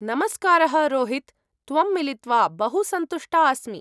नमस्कारः रोहित्, त्वं मिलित्वा बहु सन्तुष्टा अस्मि।